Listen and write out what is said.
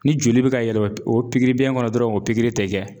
Ni joli be ka yɛlɛ o pigiribiyɛn kɔnɔ dɔrɔn o pigiri te kɛ